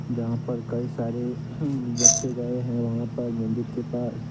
जहां पर कई सारे बच्चे गए हैं वहां पर मंदिर के पास ।